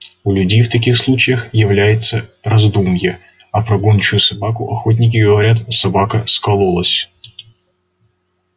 у людей в таких случаях является раздумье а про гончую собаку охотники говорят собака скололась